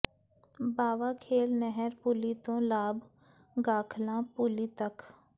ਬਾਵਾ ਖੇਲ ਨਹਿਰ ਪੁਲੀ ਤੋਂ ਲਾਭ ਗਾਖਲਾਂ ਪੁਲੀ ਤੱਕ